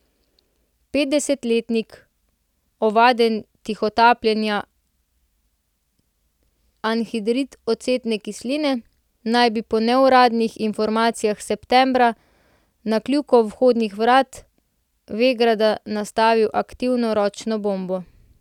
Petdesetletnik, ovaden tihotapljenja anhidrid ocetne kisline, naj bi po neuradnih informacijah septembra na kljuko vhodnih vrat Vegrada nastavil aktivirano ročno bombo.